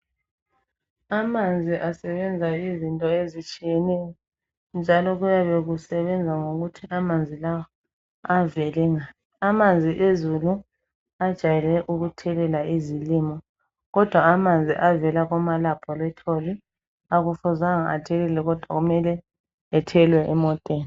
Amanzi asebenza izinto ezitshiyeneyo njalo kuyabe kusebenza ngokuthi amanzi lawa avele ngaphi. Amanzi ezulu ajayele ukuthelela izilimo kodwa amanzi avela kumalaboratory akufuzanga athelele kudwa kumele ethelwe emoteni.